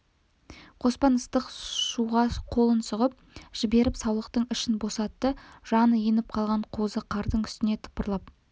қоспан ыстық шуға қолын сұғып жіберіп саулықтың ішін босатты жаны еніп қалған қозы қардың үстіне тыпырлап